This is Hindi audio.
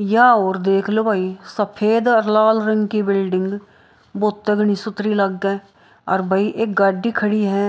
यह और देख लो भाई सफेद और लाल रंग की बिल्डिंग बहुत तगड़ी सुथरी लागै और भाई एक गाड़ी खड़ी है